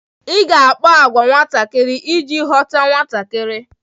Ị ga akpa àgwà ka nwatakịrị iji ghọta nwatakịrị.